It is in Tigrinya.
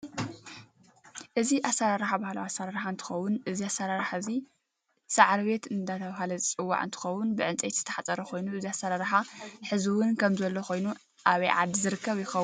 እዚ ኣሰራራሕ ባህላዊ ኣሰራርሓ እንትከውን እዚ ኣሰራራሓ እዚ ሰዕሪቤት እደተበሃለ ዝፅዋዕ እንትከውን ብእንጨይቲ ዝተሓፀረ ኮይኑ እዚ ኣሰራራሓ ሕዝውን ከም ዘሎ ኮይኑ ኣበይ ዓዲ ዝርከብ ይከውን